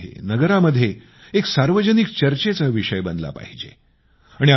हा गावामध्ये नगरामध्ये एक सार्वजनिक चर्चेचा विषय बनला पाहिजे